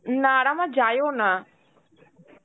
নারে, আর আমার যায়ও না.